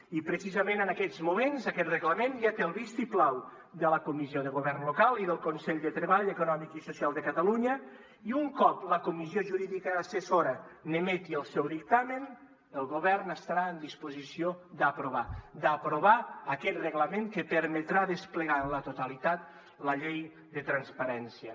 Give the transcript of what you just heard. i precisament en aquests moments aquest reglament ja té el vistiplau de la comissió de govern local i del consell de treball econòmic i social de catalunya i un cop la comissió jurídica assessora n’emeti el seu dictamen el govern estarà en disposició d’aprovar aquest reglament que permetrà desplegar en la totalitat la llei de transparència